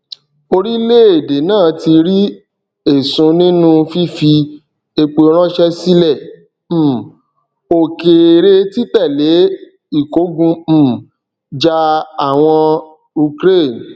orílẹèdè náà ti rí èsun nínú fífi epo ránsẹ sílẹ um òkèèrè títẹlé ìkógun um jà àwọn ukraine